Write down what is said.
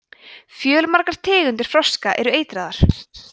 fjölmargar tegundir froska eru eitraðar